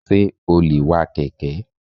Sé o lè wa kèké?